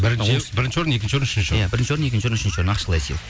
бірінші орын екінші орын үшінші орын иә бірінші орын екінші орын үшінші орын ақшалай сыйлық